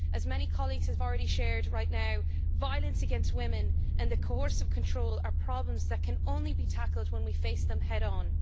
As many colleagues have already shared right now, violence against women and coercive control are problems that can only be tackled when we face them head on.